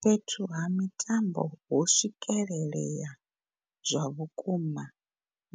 Fhethu ha mitambo ho swikelelea zwavhukuma